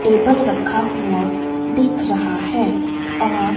table रखा हुआ दिख रहा है और--